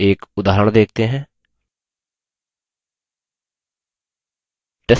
एक उदाहरण देखते हैं